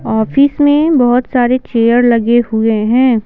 Office में बहुत सारे चेयर लगे हुए हैं।